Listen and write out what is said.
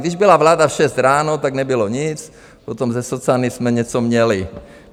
Když byla vláda v šest ráno, tak nebylo nic, potom se socany jsme něco měli.